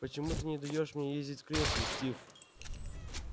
почему ты не даёшь мне ездить в кресле стив